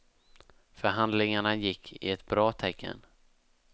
Förhandlingarna gick i ett bra tecken.